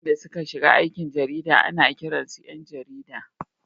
Mutanen da suka shiga aikin jarida ana kiransu ’yan jarida.